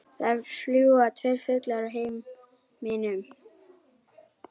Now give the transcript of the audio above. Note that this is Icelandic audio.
Það fljúga tveir fuglar í himninum.